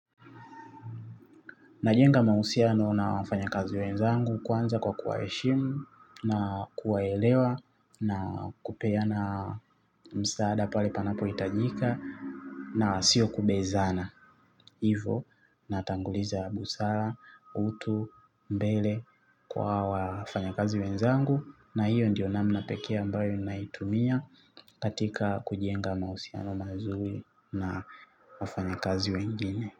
Najenga mahusiano na wafanyakazi wenzangu kwanza kwa kuwaheshimu na kuwaelewa na kupeana msaada pale panapohitajika na siyo kubezana. Hivo natanguliza busara, utu, mbele kwa wafanyakazi wenzangu na hiyo ndiyo namna pekee ambayo naitumia katika kujenga mahusiano mazuri na wafanyakazi wengine.